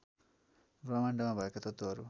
ब्रह्माण्डमा भएका तत्त्वहरू